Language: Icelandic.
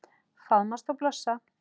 Faðmast og blossa.